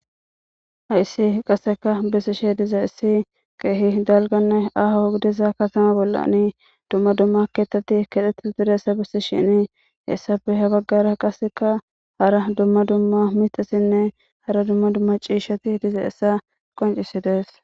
Hayssi qaseka bissishi diza issi kaehi dalganne aho hogdiza katama bolla nii dumma dumma keettatti kedheti didessa bissi shinii hessabi ha baggara qaseka hara dumma dumma mitasinne hara dumma dumma ciishati diza issa qoncisidees